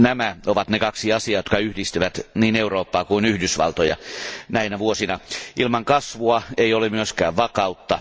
Nämä ovat ne kaksi asiaa, jotka yhdistävät niin Eurooppaa kuin Yhdysvaltoja näinä vuosina. Ilman kasvua ei ole myöskään vakautta.